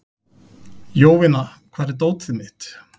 Jovina, hvar er dótið mitt?